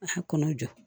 A kɔnɔ jɔ